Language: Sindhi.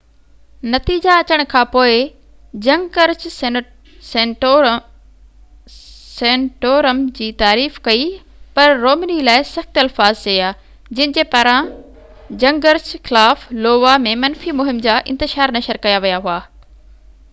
نتيجا اچڻ کانپوءِ جنگرچ سينٽورم جي تعريف ڪئي پر رومني لاءِ سخت الفاظ چيا جن جي پاران جنگرچ خلاف لووا ۾ منفي مهم جا اشتهار نشر ڪيا ويا هئا